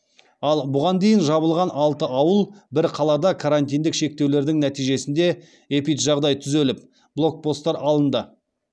ал бұған дейін жабылған алты ауыл бір қалада карантиндік шектеулердің нәтижесінде эпиджағдай түзеліп блокпосттар алынды